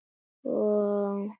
Hvað syngur í þér?